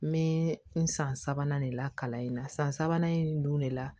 N bɛ n san sabanan de la kalan in na san sabanan in dun de la